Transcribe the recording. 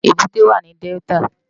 Ébùté wá ni Dèltá